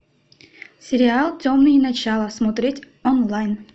сериал темные начала смотреть онлайн